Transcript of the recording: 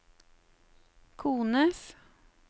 kones